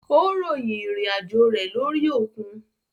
Ó ròyìn ìrìn àjò rẹ lórí òkun.